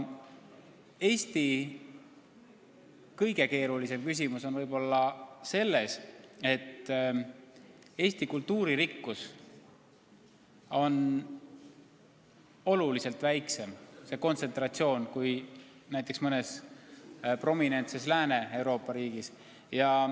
Eesti kõige keerulisem küsimus tuleneb ehk sellest, et kultuurivarade kontsentratsioon on meil oluliselt väiksem kui mõnes prominentses Lääne-Euroopa riigis.